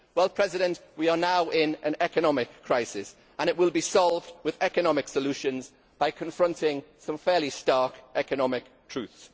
Well, President, we are now in an economic crisis and it will be solved with economic solutions, by confronting some fairly stark economic truths.